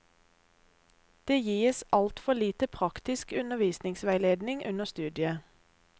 Det gis altfor lite praktisk undervisningsveiledning under studiet.